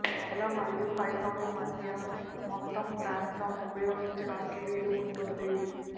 నేల మరియు పైకప్పు మధ్య మొత్తం ప్రాంతం ఉపయోగించడానికి వీలు ఉంటుంది